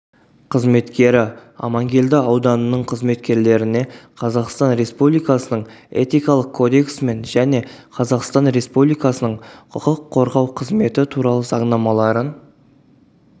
қызметкері амангелді ауданының қызметкерлеріне қазақстан республикасының этикалық кодексімен және қазақстан республикасының құқық қорғау қызметі туралы заңнамаларын